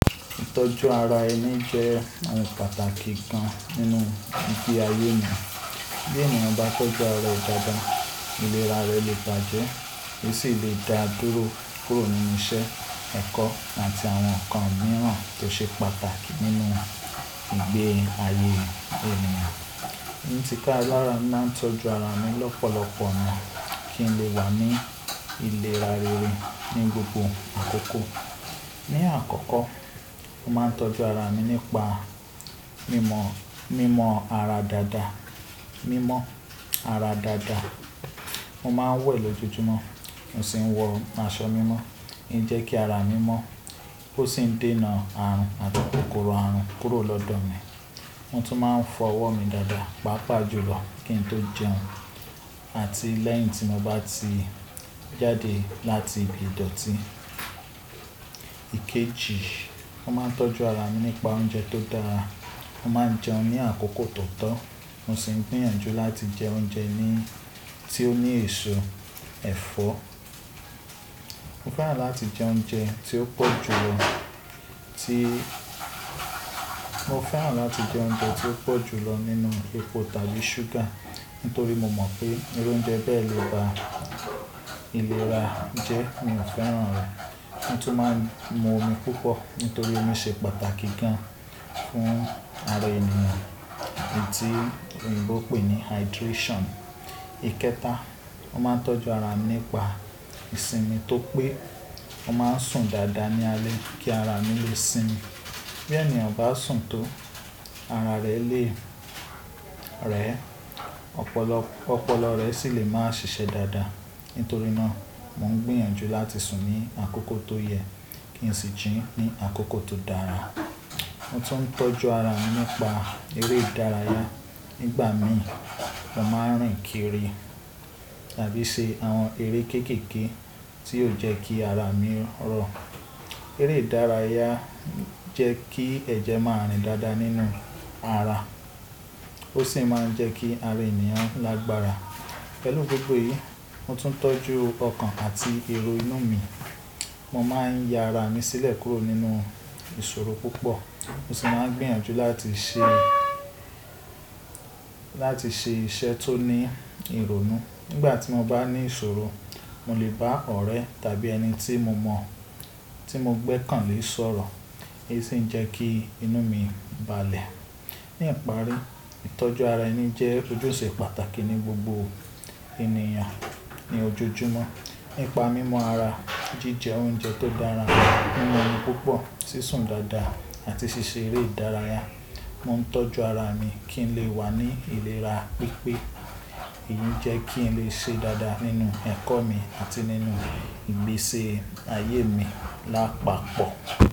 Ìtọ́jú ara ẹni jẹ́ àwọn pàtàkì kan nínú ìgbé ayé ènìyàn. Bí ènìyàn bá tó jẹ́ ara rẹ̀ dáadáa, ìlera rẹ̀ lè bàjẹ́, ó sì lè dá dúró kúrò nínú iṣẹ́, ẹ̀kọ́ àti àwọn nǹkan mìíràn tó ṣe pàtàkì nínú ìgbé ayé ènìyàn. Ní ti ka, làrá máa ń tọ́jú ara mi lọ́pọ̀lọpọ̀ náà kí n lè wà ní ìlera rere ní gbogbo àkókò. Ni àkọ́kọ́, mo máa ń tọ́jú ara mi nípa mímọ́, mímọ ara dáadáa. Mímọ́ ara dáadáa mo máa ń wẹ̀ lójoojúmọ́, mo sì ń wọ aṣọ mímọ́. Ẹ jẹ́ kí ara mi mọ́ ó sì ń dènà àrùn àti kòkòrò àrùn kúrò lọ́dọ̀ mi. Mo tún máa ń fọ ọwọ́ mi dáadáa, pàápàá jùlọ kí n tó jẹun àti lẹ́yìn tí mo bá ti jáde láti ibi idọ̀tí. Ikeji, mo máa ń tọ́jú ara mi nípa oúnjẹ tó dára. Mo máa ń jẹun ní àkókò tó tọ́, mo sì ń gbìyànjú láti jẹ oúnjẹ ní tí ó ní èso ẹ̀fọ́. Mo fẹ́ràn láti jẹ oúnjẹ tí ó pọ̀ jù lọ tí mo fẹ́ràn láti jẹ oúnjẹ tí ó pọ̀ jù lọ nínú epo tàbí ṣúgà, nítorí mo mọ̀ pé eré oúnjẹ bẹ́ẹ̀ lè ba ìlera jẹ́, mi ò fẹ́ràn rẹ̀. Mo tún máa ń mu omi púpọ̀ nítorí omi ṣe pàtàkì gan fún ara ènìyàn èyí tí oyínbo pè ní hydration. Ikẹta, mo máa ń tọ́jú ara mi nípa ìsinmi tó pé mo máa ń sùn dáadáa ní alẹ́ kí ara mi lè sinmi. Bí ènìyàn bá sùn tó, ara rẹ̀ lè rẹ̀, ọpọlọ, ọpọlọ rẹ̀ sì lè máa ṣiṣẹ́ dáadáa. Nítorí náà mò ń gbìyànjú láti sùn ní àkókò tó yẹ kí n sì jí ní àkókò tó dára. Mo tún ń tọ́jú ara mi nípa eré ìdárayá. Nígbà mí, mo máa ń rìn kiri tàbí ṣe àwọn eré kéékèèké tí yóò jẹ́ kí ara mi rọ̀. Eré ìdárayá jẹ́ kí ẹ̀jẹ̀ máa rìn dáadáa nínú ara. Ó sì máa ń jẹ́ kí ara ènìyàn lágbára. Pẹ̀lú gbogbo èyí, mo tún ń tọ́jú ọkàn àti èrò inú mi. Mo máa ń ya ara mi sílẹ̀ kúrò nínú ìṣòro púpọ̀. Mo sì máa ń gbìyànjú láti ṣe, láti ṣe iṣẹ́ tó ní ìrònú. Nígbà tí mo bá ní ìṣòro, mo lè bá ọ̀rẹ́ tàbí ẹni tí mo mọ̀, tí mo gbẹ́kàn lé sọ̀rọ̀, èyí sì ń jẹ́ kí inú mi balẹ̀. Ni ìparí, ìtọ́jú ara ẹni jẹ́ ojúṣe pàtàkì ní gbogbo ènìyàn ní ojoojúmọ́. Nípa mímọ ara, jíjẹ oúnjẹ tó dára, mímu omi púpọ̀, sí sùn dáadáa àti ṣíṣe eré ìdárayá, mo ń tọ́jú ara mi kí n lè wà ní ìlera pípé. Èyí ń jẹ́ kí n lè ṣe dáadáa nínú ẹ̀kọ́ mi àti nínú ìgbésẹ̀ ayé mi lápapọ̀.